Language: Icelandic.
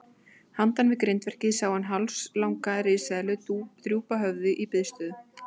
Handan við grindverkið sá hann hálslanga risaeðlu drúpa höfði í biðstöðu.